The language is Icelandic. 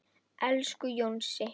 Elsku Jónsi.